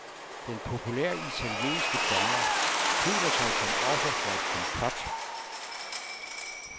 Den populære italienske dommer føler sig som offer for et komplot.